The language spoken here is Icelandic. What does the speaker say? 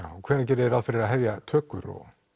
hvenær gerið þið ráð fyrir að hefja tökur